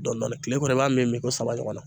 Dɔndɔɔnin kile kɔnɔ i b'a min mi ko saba ɲɔgɔn na